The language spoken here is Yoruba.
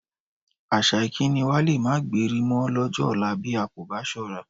Àṣà ìkíni wa lé máa gbéri mọ lọ́jọ́ ọ̀la bí a kò bá ṣọ́ra